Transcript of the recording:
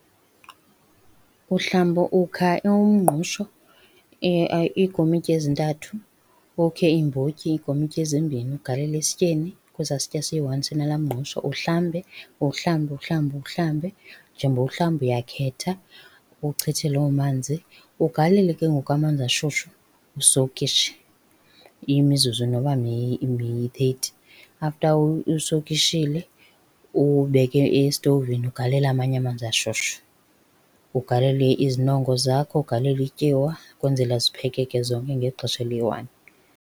Uhlamba ukha umngqusho iikomityi ezintathu. Ukhe iimbotyi iikomityi ezimbini ugalele esityeni, kwesaa sitya siyi-one sinala mngqusho uhlambe. Uwuhlambe uwuhlambe uwuhlambe, njengoba uwuhlamba uyakhetha uchithe loo manzi. Ugalele ke ngoku amanzi ashushu, usowukhishe imizuzu noba miyi-thirty. After usowukhishile uwubeke esitovini ugalele amanye amanzi ashushu, ugalele izinongo zakho, ugalele ityiwa kwenzela ziphekeke zonke ngexesha eliyi-one.